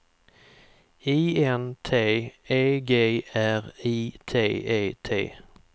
I N T E G R I T E T